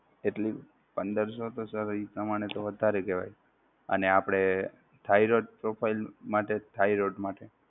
કેટલી પંદરશો તો sir એ પ્રમાણે તો વધારે કેહવાય અને આપણે Thyroid profile માટે Thyroid માટે